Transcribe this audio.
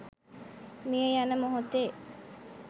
මිය යන මොහොතේ